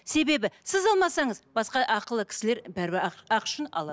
себебі сіз алмасаңыз басқа ақылы кісілер бәрібір ақы үшін алады